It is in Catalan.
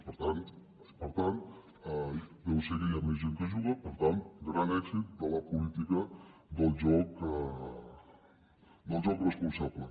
per tant deu ser que hi ha més gent que juga per tant gran èxit de la política del joc responsable